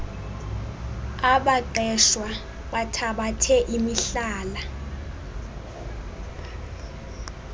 abaqeshwa bathabathe imihlala